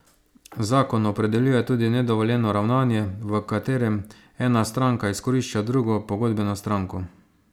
Zakon opredeljuje tudi nedovoljeno ravnanje, v katerem ena stranka izkorišča drugo pogodbeno stranko.